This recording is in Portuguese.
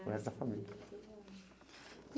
O resto da família.